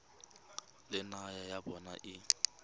le naga ya bona e